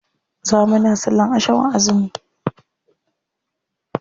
Za muna sallan asham a azumi.